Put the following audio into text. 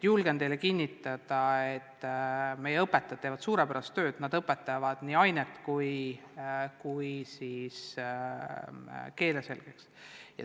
Julgen teile kinnitada, et meie õpetajad teevad suurepärast tööd: nad õpetavad nii ainet kui ka keele selgeks.